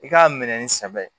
I k'a minɛ ni sɛbɛ ye